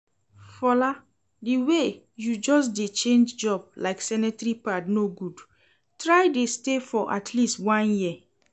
Fola, the way you just dey change job like sanitary pad no good, try dey stay for atleast one year